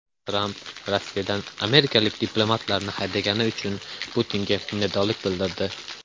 Tramp Rossiyadan amerikalik diplomatlarni haydagani uchun Putinga minnatdorlik bildirdi.